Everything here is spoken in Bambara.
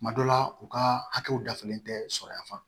Tuma dɔ la u ka hakɛw dafalen tɛ sɔrɔ yan